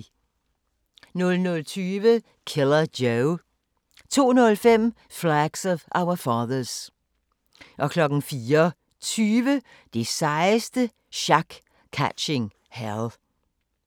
00:20: Killer Joe 02:05: Flags of Our Fathers 04:20: Det sejeste sjak - Catching Hell